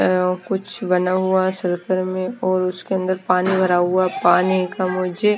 कुछ बना हुआ सर्किल में और उसके अंदर पानी भरा हुआ पानी का मुझे।